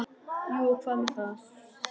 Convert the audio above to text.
Jú og hvað með það!